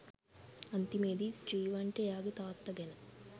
අන්තිමේදී ස්ටීවන්ට එයාගේ තාත්තා ගැන